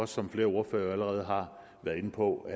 som flere ordførere allerede har været inde på